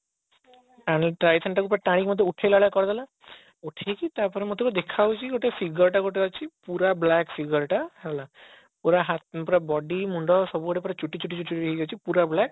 ପୁରା ଟାଣିକି ମତେ ଉଠେଇଲା ଭଳିଆ କରିଦେଲା ଉଠେଇକି ତାପରେ ମତେ ବି ଦେଖା ଯାଉଛି ଗୋଟେ figure ଟେ ଗୋଟେ ଅଛି ପୁରା black figure ଟା ହେଲା ପୁରା ହା ପୁରା ଗଣ୍ଡି ମୁଣ୍ଡ ସବୁ ଆଡେ ପୁରା ଚୁଟି ଚୁଟି ଚୁଟି ଚୁଟି ହେଇ କି ଅଛି ପୁରା black